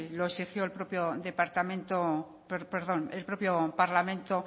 lo exigió el propio parlamento